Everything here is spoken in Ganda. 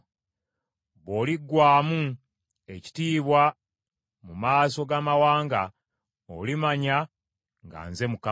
Bw’oliggwaamu ekitiibwa mu maaso g’amawanga, olimanya nga Nze Mukama .’”